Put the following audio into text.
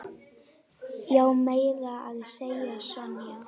Já, meira að segja Sonja.